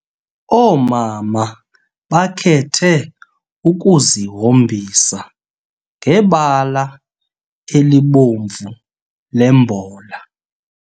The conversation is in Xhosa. Oomama bakhethe ukuzihombisa ngebala elibomvu lembola.